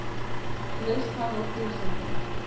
Leyst hann úr prísundinni.